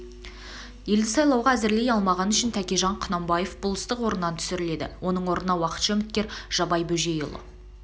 елді сайлауға әзірлей алмағаны үшін тәкежан құнанбаев болыстық орнынан түсірледі оның орнына уақытша үміткері жабай бөжейұлы